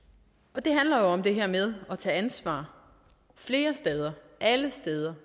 og det handler om det her med at tage ansvar flere steder alle steder